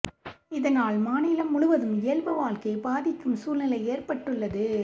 இதனால் மாநிலம் முழுவதும் இயல்பு வாழ்க்கை பாதிக்கும் சூழ்நிலை ஏற்பட்டுள்ளது